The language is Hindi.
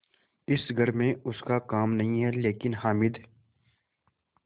इस घर में उसका काम नहीं लेकिन हामिद